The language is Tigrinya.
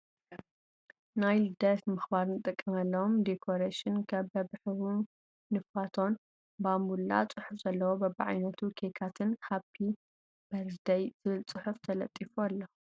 ናይ ልደት ንምክባር እንጥቀመሎም ደኮሬሽን ከም በብሕብሩ ነፋቶን ፣ ባምቡላ፣ ፅሑፍ ዘለዎ በብዓይነቱ ኬካትን ሃፒ በርዝደይ ዝብል ፅሑፍ ተለጢፉ ኣሎ።